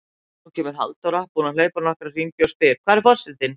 Nú kemur Halldóra, búin að hlaupa nokkra hringi, og spyr: Hvar er forsetinn?